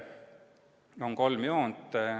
Siin on kolm joont.